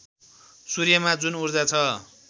सूर्यमा जुन ऊर्जा छ